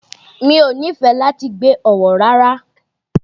Mi ò nífẹ̀ẹ́ láti gbé Ọ̀wọ̀ rárá.